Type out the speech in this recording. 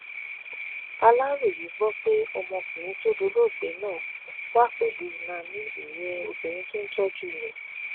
aláròye gbọ pé ọmọkùnrin tó dolóògbé náà wà pẹlú nani ìyẹn obìnrin tó ń tọjú rẹ